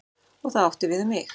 Og það átti við um mig.